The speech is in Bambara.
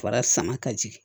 Fara sama ka jigin